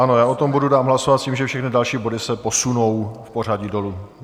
Ano, já o tom bodu dám hlasovat s tím, že všechny další body se posunou v pořadí dolů.